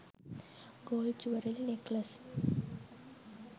gold jewellery neckless